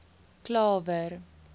klawer